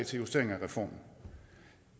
justering af reformen